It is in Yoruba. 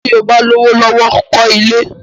Tí o bá lówó lọ́wọ́, kọ́ ilé!